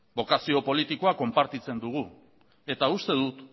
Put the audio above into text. bokazio politikoa konpartitzen dugu eta uste dut